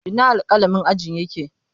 Ina alƙalamin ajin yake?